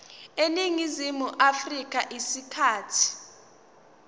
eningizimu afrika isikhathi